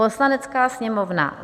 Poslanecká sněmovna